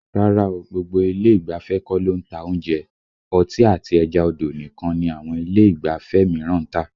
Rárá o, gbogbo ilé ìgbafẹ́ kọ́ ló ń ta oúnjẹ, ọtí àti ẹja odò nìkan ni àwọn ilé ìgbafẹ́ mìíràn ń tà